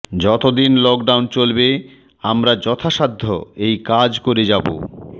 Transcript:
যতদিন লকডান চলবে আমরা যথাসাধ্য এই কাজ করে যাব